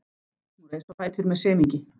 Hún reis á fætur með semingi.